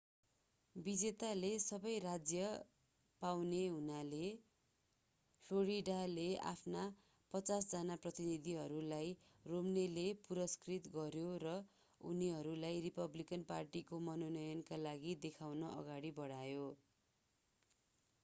विजेताले सबै राज्य पाउने हुनाले फ्लोरिडाले आफ्ना पचास जना प्रतिनिधिहरूलाई romneyले पुरस्कृत गर्‍यो र उनलाई रिपब्लिकन पार्टीको मनोनयनका लागि देखाउन अगाडि बढायो।